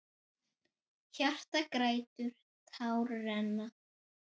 Hjartað grætur, tár renna.